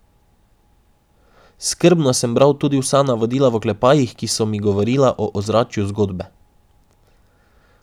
Skrbno sem bral tudi vsa navodila v oklepajih, ki so mi govorila o ozračju zgodbe ...